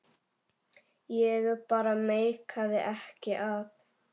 Ég bara meikaði ekki að.